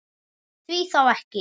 Því þá ekki?